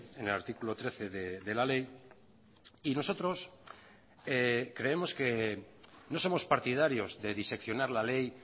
en el artículo trece de la ley y nosotros creemos que no somos partidarios de diseccionar la ley